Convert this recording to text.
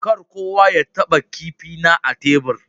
Kar kowa ya taba kipi na a tebur.